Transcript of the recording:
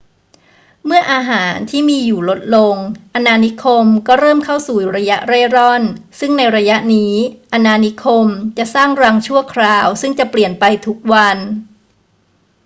เมื่ออาหารที่มีอยู่ลดลง อาณานิคมก็เริ่มเข้าสู่ระยะเร่ร่อน ซึ่งในระยะนี้ อาณานิคมจะสร้างรังชั่วคราวซึ่งจะเปลี่ยนไปทุกวัน